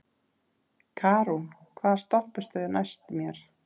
Karún, hvaða stoppistöð er næst mér?